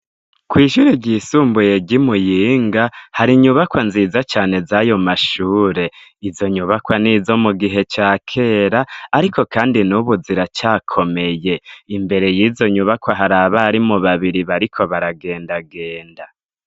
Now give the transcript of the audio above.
kw'ishure ryisumbuye ry'imuyinga har'inyubakwa nziza cane z'ayomashure. Izonyubakwa nizo mugihe cakera ariko kandi nubu ziracakomeye. Imbere y'izonyubakwa har'abarimu babiri bariko baragendagenda.